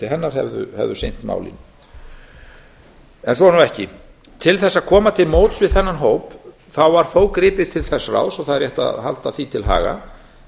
hefðu sinnt málinu en svo er nú ekki til þess að koma til móts við þennan hóp var þó gripið til þess ráðs og það er rétt að halda því til haga